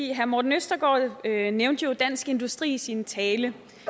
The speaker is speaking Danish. herre morten østergaard nævnte jo dansk industri i sin tale